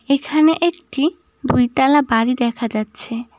এখানে একটি দুই তালা বাড়ি দেখা যাচ্ছে।